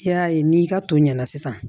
I y'a ye n'i ka to ɲɛna sisan